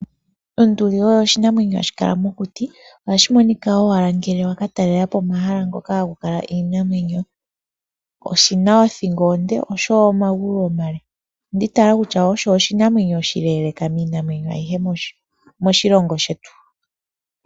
Onduli oyo oshinamwenyo hashi kala mokuti, ohashi monika owala ngele wakatalelapo omahala ngoka haku kala iinamwenyo. Oshina othingo onde, osho wo omagulu omale. Ondi itayela kutua osho oshinamwenyo oshileeleeka miinamwenyo ayihe moshilongo shetu.